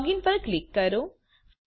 login પર click કરો